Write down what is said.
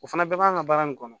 O fana bɛɛ b'an ka baara nin kɔnɔ